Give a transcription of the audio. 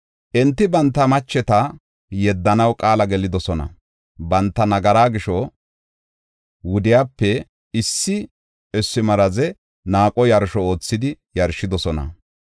Enti banta macheta yeddanaw qaala gelidosona; banta nagara gisho, wudiyape issi issi maraze naaqo yarsho oothidi yarshidosona.